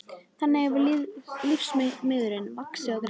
Þannig hefur lífsmeiðurinn vaxið og greinst.